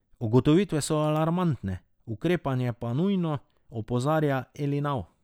Ugotovitve so alarmantne, ukrepanje pa nujno, opozarja Elinav.